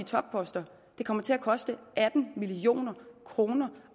topposter det kommer til at koste atten million kroner